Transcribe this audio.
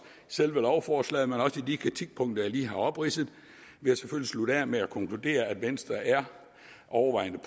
selve lovforslaget men også i de kritikpunkter jeg lige har opridset slutte af med at konkludere at venstre overvejende